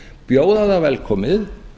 bjóða það velkomið